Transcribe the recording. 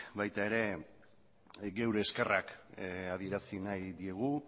baita ere geure eskerrak adierazi nahi diegu